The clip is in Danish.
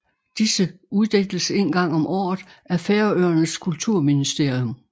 Disse uddeles en gang om året af Færøernes kulturministerium